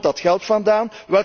Waar komt dat geld vandaan?